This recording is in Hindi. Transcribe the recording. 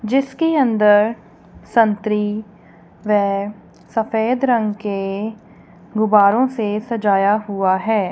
जिसके अंदर संतरी वे सफेद रंग के गुब्बारे से सजाया हुआ है।